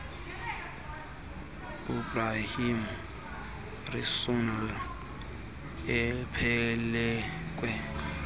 uebrahim rasool ephelekwe